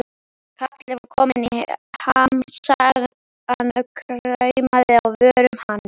Kallinn var kominn í ham, sagan kraumaði á vörum hans.